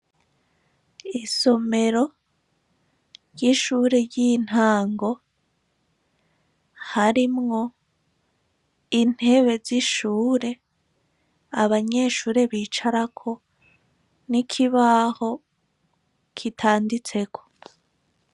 Isomero ry'ishure ry'intango harimwo intebe z'ishure abanyeshure bicarako n'ikibaho kitanditseko.